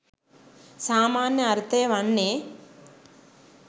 සාමාන්‍ය අර්ථය වන්නේ